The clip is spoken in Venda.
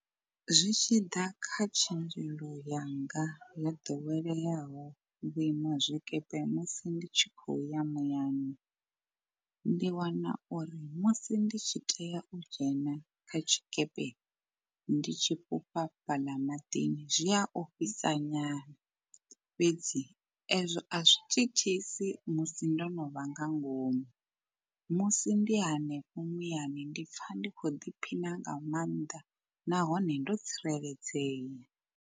Zwi tshi ḓa kha tshenzhelo yanga yo ḓoweleaho vhuima zwikepe musi ndi tshi khou ya muyani. Ndi wana uri musi ndi tshi tea u dzhena kha tshikepe, ndi tshi fhufha fhaḽa maḓini zwi a ofhisa nyana fhedzi ezwo azwi thithisi musi ndo no vha nga ngomu. Musi ndi hanefho muyani ndipfa ndi kho ḓiphina nga maanḓa nahone ndo tsireledzea.